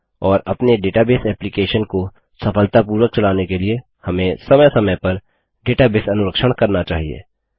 और अपने database application को सफलतापूर्वक चलाने के लिए हमें समय समय पर डेटाबेस अनुरक्षण करना चाहिए